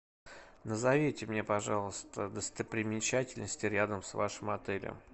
назовите мне пожалуйста достопримечательности рядом с вашим отелем